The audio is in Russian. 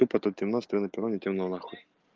темнота интернете много н